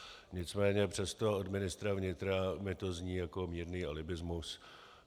Nicméně přesto od ministra vnitra mi to zní jako mírný alibismus.